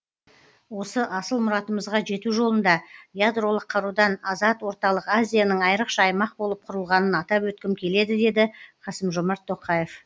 осы асыл мұратымызға жету жолында ядролық қарудан азат орталық азияның айрықша аймақ болып құрылғанын атап өткім келеді деді қасым жомарт тоқаев